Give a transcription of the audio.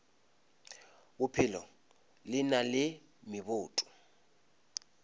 bophelo le na le meboto